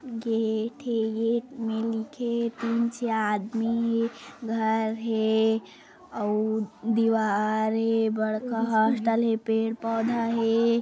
Gate हे gate में लिखे नीचे आदमी हे घर हे अउ दीवार हे बड़का हॉस्टल हे पेड़- पौधा हे।